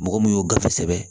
Mɔgɔ mun y'o gafe sɛbɛn